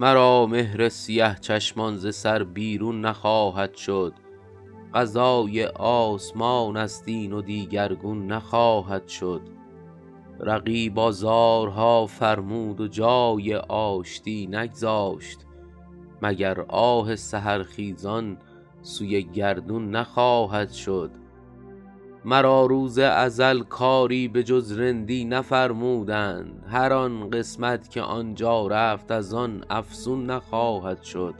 مرا مهر سیه چشمان ز سر بیرون نخواهد شد قضای آسمان است این و دیگرگون نخواهد شد رقیب آزارها فرمود و جای آشتی نگذاشت مگر آه سحرخیزان سوی گردون نخواهد شد مرا روز ازل کاری به جز رندی نفرمودند هر آن قسمت که آن جا رفت از آن افزون نخواهد شد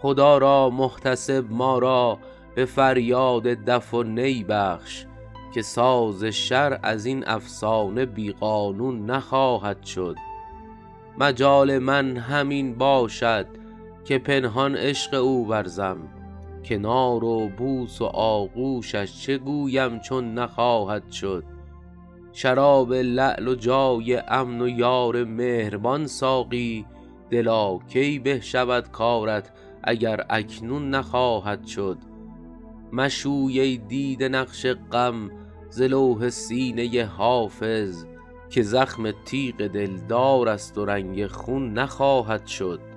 خدا را محتسب ما را به فریاد دف و نی بخش که ساز شرع از این افسانه بی قانون نخواهد شد مجال من همین باشد که پنهان عشق او ورزم کنار و بوس و آغوشش چه گویم چون نخواهد شد شراب لعل و جای امن و یار مهربان ساقی دلا کی به شود کارت اگر اکنون نخواهد شد مشوی ای دیده نقش غم ز لوح سینه حافظ که زخم تیغ دلدار است و رنگ خون نخواهد شد